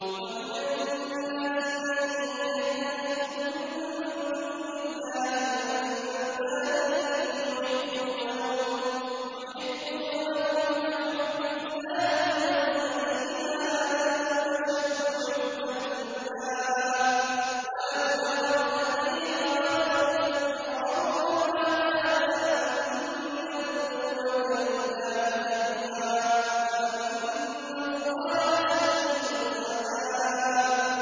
وَمِنَ النَّاسِ مَن يَتَّخِذُ مِن دُونِ اللَّهِ أَندَادًا يُحِبُّونَهُمْ كَحُبِّ اللَّهِ ۖ وَالَّذِينَ آمَنُوا أَشَدُّ حُبًّا لِّلَّهِ ۗ وَلَوْ يَرَى الَّذِينَ ظَلَمُوا إِذْ يَرَوْنَ الْعَذَابَ أَنَّ الْقُوَّةَ لِلَّهِ جَمِيعًا وَأَنَّ اللَّهَ شَدِيدُ الْعَذَابِ